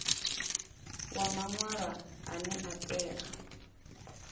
wa maṅwalwa ane a tea